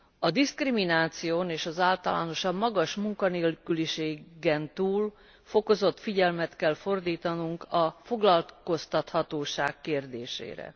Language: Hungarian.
A diszkrimináción és az általánosan magas munkanélküliségen túl fokozott figyelmet kell fordítanunk a foglalkoztathatóság kérdésére.